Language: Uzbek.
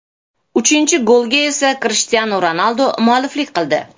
Uchinchi golga esa Krishtianu Ronaldu mualliflik qildi.